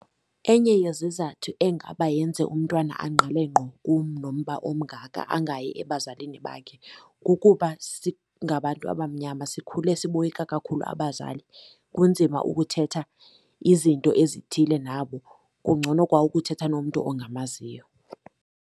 Enye yezizathu engaba yenze umntwana angqile ngqo kum nomba omngaka angayi ebazalini bakhe, kukuba singabantu abamnyama sikhule siboyika kakhulu abazali. Kunzima ukuthetha izinto ezithile nabo, kungcono kwa ukuthetha nomntu ongamaziyo